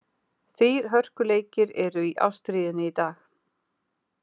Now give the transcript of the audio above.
Þrír hörkuleikir eru í ástríðunni í dag.